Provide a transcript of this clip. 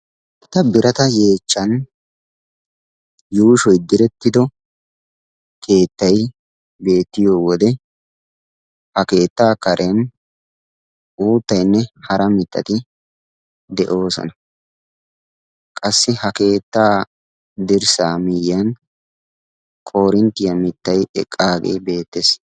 eta birata yeechchan yuushoy direttido keettay beettiyo wode ha keettaa karen uuttaynne hara mittati de'oosona qassi ha keettaa dirssaa miiyyan korinttiyaa mittay eqqaagee beettees